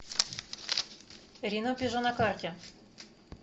ренопежо на карте